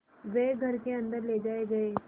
वे घर के अन्दर ले जाए गए